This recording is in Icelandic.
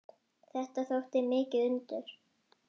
Þetta þótti mikið undur.